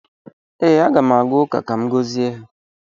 Ee, Aga m aga ụka ka m gọzie ha